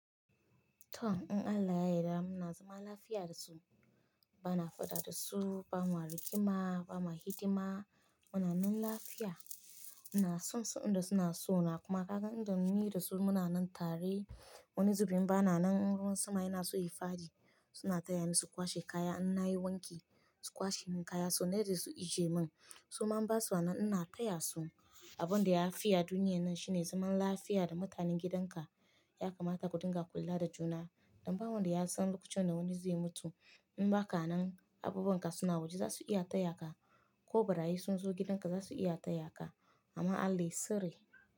To, in Allah ya yarda muna zama lafiya da su, bana faɗa da su, bama rigima, bama hidima. Muna nan lafiya, ina san su inda suna so na kuma kaga inda mun yi da su muna nan tare. Wani zubin bana nan in ruwan sama yana so yi fadi, suna taya ni su kwashe kaya. Inna yi wanki su kwashe min kaya, su maida su ije min su ma ba su anan Inna taya su abun da ya fiya duniyar nan shine zaman lafiya da mutanen gidanka. Ya kamata ku dinga kula da juna. Dan ba wanda ya san lokacin da wani zai mutu. In ba ka nan, abubunka suna waje za su iya taya ka. Ko barayi sun zo gidanka za su iya taya ka. Amma Allah ya tsare.